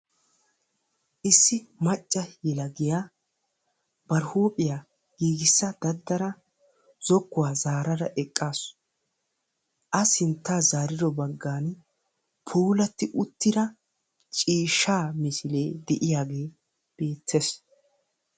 Issi macca yelagiyaa bari huuphphiyaa giigissa daddada zokkuwaa zaarada eqqasu, a sinttaa zaarido baggaan puulatti uttida ciishshaa misilee de'iyaagee beettees.